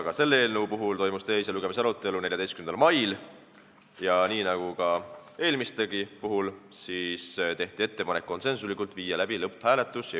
Ka selle eelnõu teise lugemise arutelu toimus 14. mail ja nii nagu eelmistegi puhul, tehti konsensusega ettepanek viia läbi lõpphääletus.